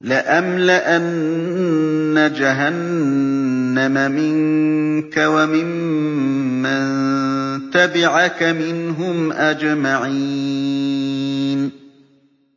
لَأَمْلَأَنَّ جَهَنَّمَ مِنكَ وَمِمَّن تَبِعَكَ مِنْهُمْ أَجْمَعِينَ